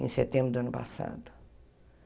Em setembro do ano passado.